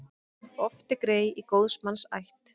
Oft er grey í góðs manns ætt.